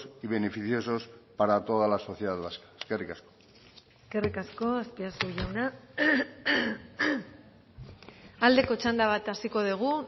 y beneficiosos para toda la sociedad vasca eskerrik asko eskerrik asko azpiazu jauna aldeko txanda bat hasiko dugu